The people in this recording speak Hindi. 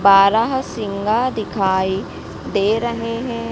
बारहसिंघा दिखाई दे रहे हैं।